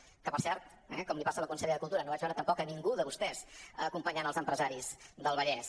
que per cert eh com li passa a la consellera de cultura no vaig veure tampoc a ningú de vostès acompanyant els empresaris del vallès